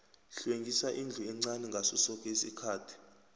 hlwengisa indlu encani ngaso soke isikhathi